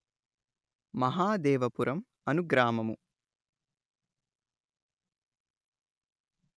మహాదేవపురం అను గ్రామము